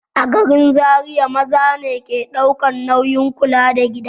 A garin Zariya maza ne ke ɗaukan nauyin kula da gida.